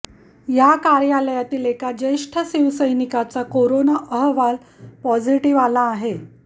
या कार्यालयातील एका ज्येष्ठ शिवसैनिकाचा कोरोना अहवाल पॉझिटिव्ह आला आहे